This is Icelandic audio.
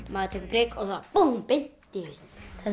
maður tekur prik og beint í hausinn